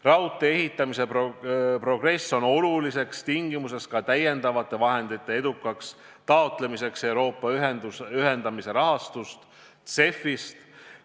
Raudtee ehitamise progress on oluliseks tingimuseks, et edukalt taotleda täiendavaid vahendeid Euroopa ühendamise rahastust, CEF-ist.